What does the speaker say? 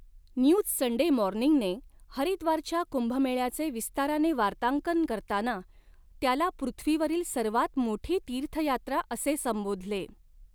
News Sunday मॉर्निंगने हरिद्वारच्या कुंभमेळ्याचे विस्ताराने वार्तांकन करताना, त्याला 'पृथ्वीवरील सर्वात मोठी तीर्थयात्रा' असे संबोधले.